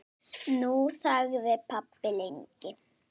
Nú þagði pabbi lengi.